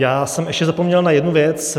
Já jsem ještě zapomněl na jednu věc.